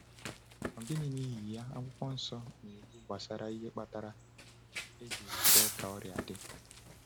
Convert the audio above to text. Gịnị, n’ihi ya, Akwụkwọ Nsọ na-ekwu gbasara ihe kpatara a jiri kwe ka ọrịa dị?